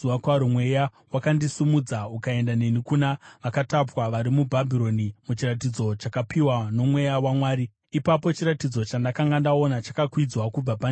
Mweya wakandisimudza ukaenda neni kuna vakatapwa vari muBhabhironi muchiratidzo chakapiwa noMweya waMwari. Ipapo chiratidzo chandakanga ndaona chakakwidzwa kubva pandiri,